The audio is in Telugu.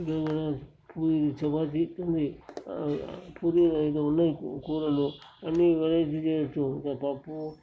ఇక్కడ మన పురి చపాతీ ఉంది. పురి ఇంకా ఉన్నాయి. కూరలు అన్ని వెరయిటీ లు చెయవచ్చు పప్పు--